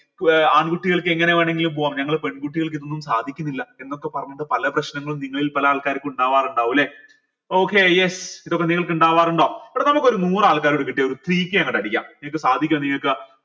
ഏർ ആൺകുട്ടികൾക്ക് എങ്ങനെ വേണെങ്കിലും പോവാം ഞങ്ങൾ പെൺകുട്ടികൾക്ക് ഇതൊന്നും സാധിക്കുന്നില്ല എന്നൊക്കെ പറഞ്ഞിട്ട് പല പ്രശ്നങ്ങളും നിങ്ങളിൽ പല ആൾക്കാർക്കും ഇണ്ടാവാരിണ്ടാവു ല്ലെ okay yes ഇതൊക്കെ നിങ്ങൾക്ക് ഇണ്ടാവാറുണ്ടോ എടോ നമുക്കൊരു നൂറ് ആൾക്കാരെ കൂടെ കിട്ടിയാൽ three k അങ്ങട്ട് അടിക്ക സാധിക്കോ നിങ്ങക്ക്